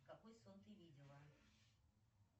какой сон ты видела